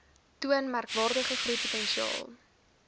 toon merkwaardige groeipotensiaal